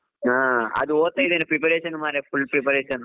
ಹಾ ಅದು ಓದುತ್ತ ಇದ್ದೇನೆ .ಮರ್ರೆ preparation full preparation .